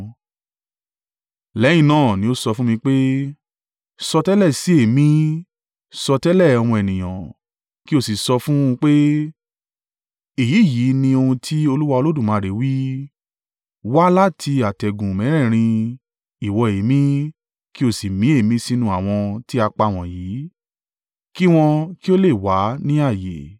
Lẹ́yìn náà ni ó sọ fún mi pé, “Sọtẹ́lẹ̀ sí èémí; sọtẹ́lẹ̀, ọmọ ènìyàn, kí ó sì sọ fún un pé, ‘Èyí yìí ni ohun tí Olúwa Olódùmarè wí: wá láti atẹ́gùn mẹ́rẹ̀ẹ̀rin, ìwọ èémí, kí ó sì mí èémí sínú àwọn tí a pa wọ̀nyí, kí wọn kí ó lè wà ní ààyè.’ ”